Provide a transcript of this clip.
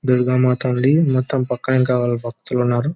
దుర్గ మాత ఉంది మొత్తం పక్కన ఇంకా భక్తులు ఉన్నారు.